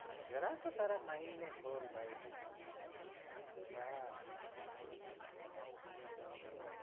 જરા તો તારા mind ને ખોલ ભાઈ આહ ઉહ